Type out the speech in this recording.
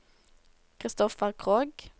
Christoffer Krogh